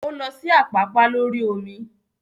O lọ sí Àpápá lórí omi